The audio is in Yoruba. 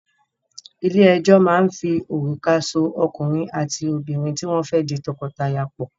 Ilé-ẹjọ́ máa ń fi òrùka so ọkùnrin àti obìnrin tí wọ́n fẹ́ di tọkọtaya pọ̀.